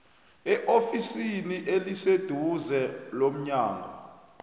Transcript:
eofisini eliseduze lomnyango